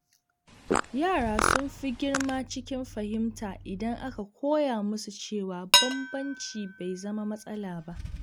Yara sun fi girma cikin fahimta idan aka koya musu cewa bambanci bai zama matsala ba.